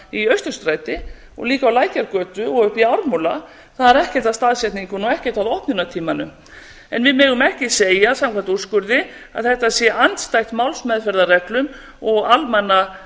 í austurstræti og líka á lækjargötu og uppi í ármúla það er ekkert að staðsetningunni og ekkert að opnunartímanum en við megum ekki segja samkvæmt úrskurði að þetta sé andstætt málsmeðferðarreglum og